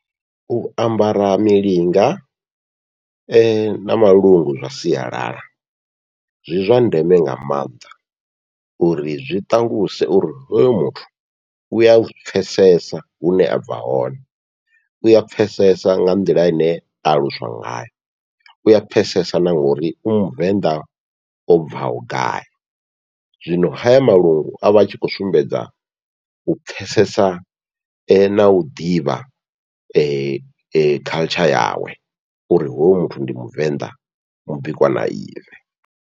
U ambara milinga na malungu zwa sialala zwi zwa ndeme nga maanḓa, uri zwi ṱaluse uri hoyu muthu uya zwi pfhesesa hune abva hone, uya pfhesesa nga nḓila ine aluswa ngayo uya pfhesesa na ngori u muvenḓa o bvaho gai, zwino haya malungu avha a tshi khou sumbedza u pfhesesa nau ḓivha culture yawe, uri hoyu muthu ndi muvenḓa mubikwa na ive.